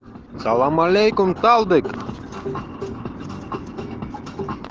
салам алейкум талдык